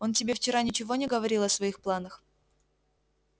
он тебе вчера ничего не говорил о своих планах